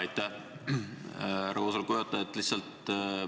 Aitäh, härra koosoleku juhataja!